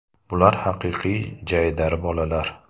Bular haqiqiy jaydari bolalar.